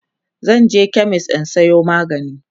zanje chemist in Sayo magani